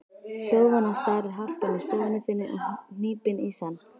Hljóðvana starir harpan í stofu þinni og hnípin í senn.